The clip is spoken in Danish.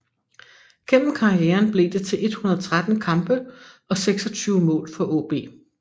Gennem karrieren blev det til 113 kampe og 26 mål for AaB